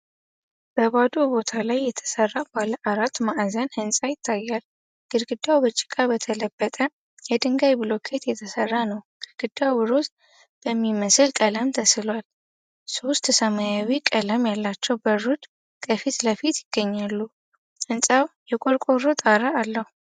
በባዶ ቦታ ላይ የተሰራ ባለ አራት ማዕዘን ሕንፃ ይታያል። ግድግዳው በጭቃ በተለጠፈ የድንጋይ ብሎኬት የተሰራ ነው። ግድግዳው ሮዝ በሚመስል ቀለም ተስሏል። ሶስት ሰማያዊ ቀለም ያላቸው በሮች ከፊት ለፊት ይገኛሉ። ሕንፃው የቆርቆሮ ጣራ አለው።